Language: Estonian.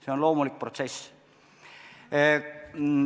See on loomulik protsess.